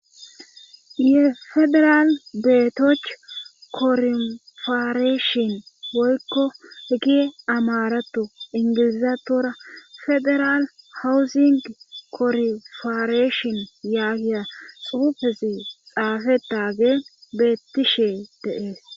ye federal beetoch korifareeshin woykko hegi amaratu ingilizatora federal hawuzing korfareeshin yaagiya xuufesi xaafetagee beettishe dee'es